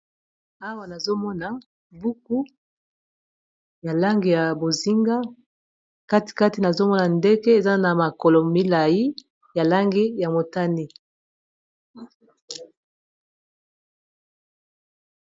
awa nazomona buku ya langi ya bozinga katikati nazomona ndenge eza na makolo milai ya langi ya motani